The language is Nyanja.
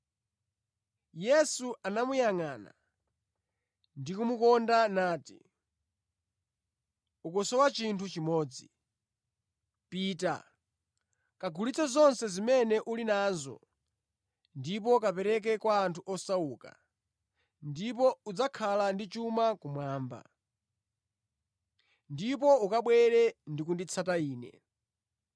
Yesu anamuyangʼana ndi kumukonda nati, “Ukusowa chinthu chimodzi. Pita, kagulitse zonse zimene uli nazo ndipo kapereke kwa osauka, ndipo udzakhala ndi chuma kumwamba. Ndipo ukabwere ndi kunditsata Ine.”